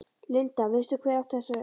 Linda: Veistu hver átti þessi lungu?